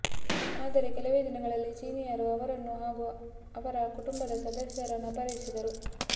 ಆದರೆ ಕೆಲವೇ ದಿನಗಳಲ್ಲಿ ಚೀನೀಯರು ಅವರನ್ನು ಹಾಗೂ ಅವರ ಕುಟುಂಬದ ಸದಸ್ಯರನ್ನು ಅಪಹರಿಸಿದರು